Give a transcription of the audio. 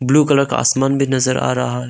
Blue colour का आसमान भी नजर आ रहा है।